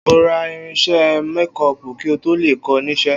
O óò ra irins̩é̩ mékó̩ò̩pù kí n tó lè kó̩ o̩ nís̩̩é̩